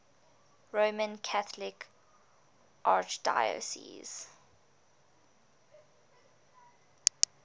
roman catholic archdiocese